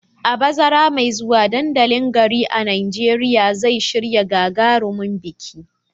A bazara mai zuwa, dandalin garin a Najeriya zai shirya gagarumin biki